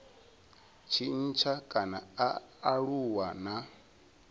tshintsha kana a aluwa na